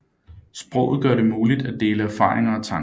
Sproget gør det muligt at dele erfaringer og tanker